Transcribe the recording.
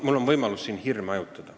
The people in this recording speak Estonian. Mul on võimalus neid hirme hajutada.